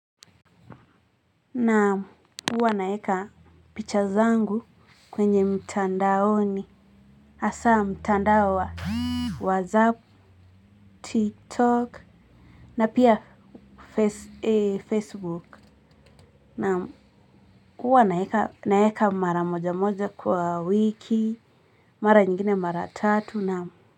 Naam uwa naeka picha zangu kwenye mtandaoni hasa mtandao wa whatsapp tiktok na pia facebook naam uwa naeka mara moja moja kwa wiki mara nyingine mara tatu na.